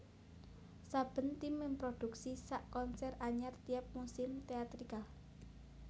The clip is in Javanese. Saben tim memproduksi sak konser anyar tiap musim teatrikal